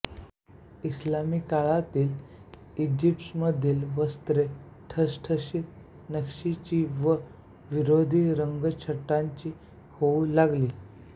इस्लामी काळातील ईजिप्तमधील वस्त्रे ठसठशीत नक्षीची व विरोधी रंगच्छटांची होऊ लागली